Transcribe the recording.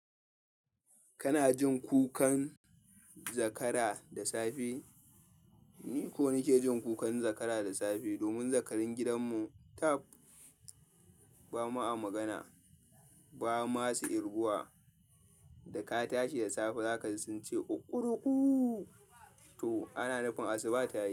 Kana jin kukan zakara da safe? Ni ko nake jin kukan zakara da safe domin zakarun gidan mu tap. Ba ma a magana, ba ma su kirguwa. Da ka tashi da safe zaka ji sun ce "Kukuruku", to ana nufin asuba ta yi.